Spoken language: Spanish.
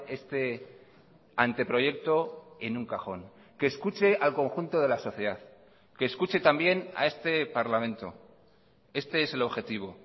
este anteproyecto en un cajón que escuche al conjunto de la sociedad que escuche también a este parlamento este es el objetivo